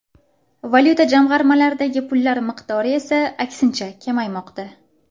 Valyuta jamg‘armalaridagi pullar miqdori esa aksincha kamaymoqda.